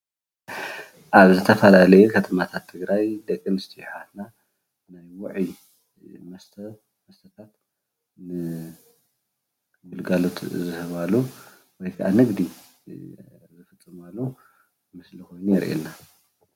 ኣብ ዝተፈላለዩ ከተማታት ትግራይ ደቂ ኣነስትዮ ኣሕዋትና ውዕይ መስተ ንግልጋሎት ዝህባሉ ወይ ከዓ ንግዲ ዝፍፅማሉ ምስሊ ኾይኑ የርእየና፡፡